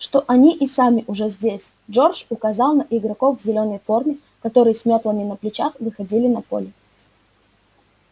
что они и сами уже здесь джордж указал на игроков в зелёной форме которые с мётлами на плечах выходили на поле